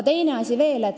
Teine asi veel.